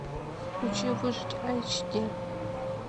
включи выжить айч ди